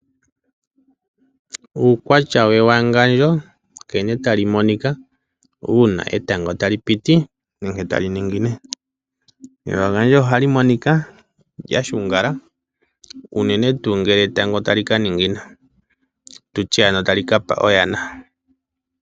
Uukwatya we wangandjo nkene tali monika una etango tali piti nenge tali ningine. Ewangandjo ohali monika lyashungala unene tu ngele etango tali ka ningina tutye ano tali ka pa oyana.